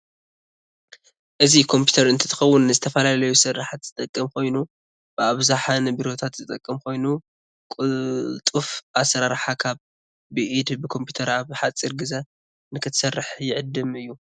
ኢዚ ኮፒተር እንትከውንንዝተፈላለዩ ስራሐት ዝጠቅም ኮይኑ ብኣብዛሓ ንብሮታት ዝጠቅም ኮይኑ ቁልጥፍ ኣስራርሓ ካብ ብኢድ ብኮፒተር ኣብ ሓፅሪ ግዝ ንክትሰርሕ ይዕድም እዩ።